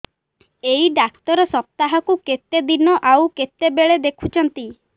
ଏଇ ଡ଼ାକ୍ତର ସପ୍ତାହକୁ କେତେଦିନ ଆଉ କେତେବେଳେ ଦେଖୁଛନ୍ତି